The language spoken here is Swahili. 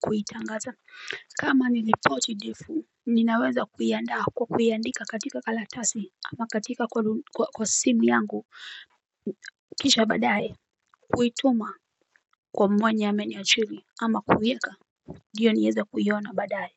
kuitangaza kama ni ripoti ndefu ninaweza kuiandaa kwa kuiandika katika karatasi ama katika kwa simu yangu kisha badaye Kuituma kwa mwenye ameniajiri ama kuieka ndiyo nieze kuiona badaye.